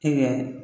E bɛ